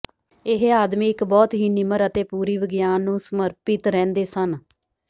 ਇਹ ਆਦਮੀ ਇੱਕ ਬਹੁਤ ਹੀ ਨਿਮਰ ਅਤੇ ਪੂਰੀ ਵਿਗਿਆਨ ਨੂੰ ਸਮਰਪਿਤ ਰਹਿੰਦੇ ਸਨ